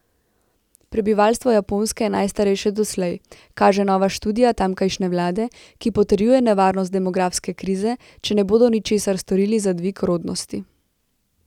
Prebivalstvo Japonske je najstarejše doslej, kaže nova študija tamkajšnje vlade, ki potrjuje nevarnost demografske krize, če ne bodo ničesar storili za dvig rodnosti.